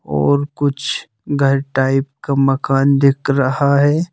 और कुछ घर टाइप का मकान दिख रहा है।